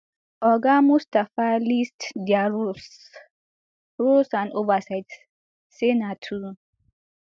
oga mustapha list dia roles roles and oversight say na to